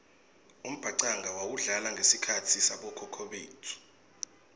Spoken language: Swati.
umbhacanga wawudlala ngesikhatsi sabokhokho betfu